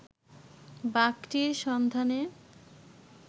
বাঘটির সন্ধানে